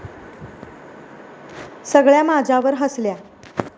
सगळ्या माझ्यावर हसल्या.